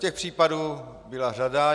Těch případů byla řada.